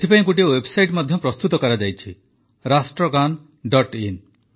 ଏଥିପାଇଁ ଗୋଟିଏ ୱେବସାଇଟ ମଧ୍ୟ ପ୍ରସ୍ତୁତ କରାଯାଇଛି ରାଷ୍ଟ୍ରଗାନ ଡଟ୍ ଇନ୍